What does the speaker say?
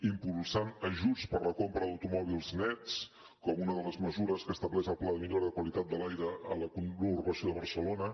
impulsant ajuts per a la compra d’automòbils nets com una de les mesures que estableix el pla de millora de qualitat de l’aire a la conurbació de barcelona